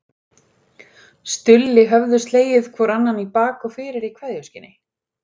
Stulli höfðu slegið hvor annan í bak og fyrir í kveðjuskyni.